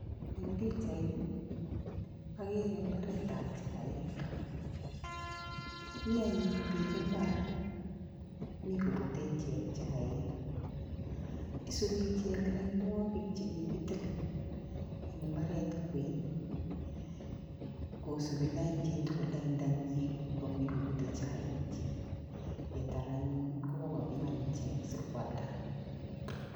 Eng pichaini ,agere mbaretab chaik. Mianyun piik mbar, mii koputei ichek chaik. Isupi ichek lainwagik chekikitil eng mbaret kwen. Kosupi lain chitugul laindanyi ,koputei chaik. Netar anyun konyokopiman sikoalda.